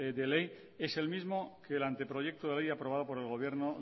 de ley es el mismo que el anteproyecto de ley aprobado por el gobierno